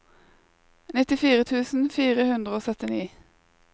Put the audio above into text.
nittifire tusen fire hundre og syttini